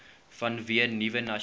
vanweë nuwe nasionale